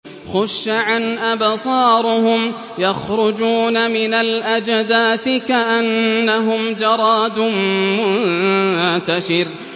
خُشَّعًا أَبْصَارُهُمْ يَخْرُجُونَ مِنَ الْأَجْدَاثِ كَأَنَّهُمْ جَرَادٌ مُّنتَشِرٌ